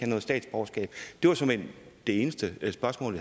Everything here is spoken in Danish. noget statsborgerskab det var såmænd det eneste spørgsmål